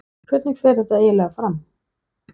Hvernig fer þetta eiginlega fram?